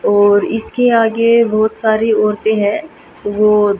और इसके आगे बहुत सारी औरतें हैं वो--